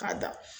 K'a da